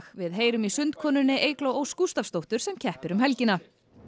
við heyrum í Eygló Ósk sem keppir um helgina